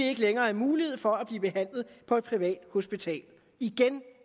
ikke længere mulighed for at blive behandlet på et privathospital igen